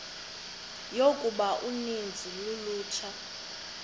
yokuba uninzi lolutsha